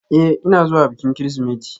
Ee, ina zuwa bikin Kirsimeti.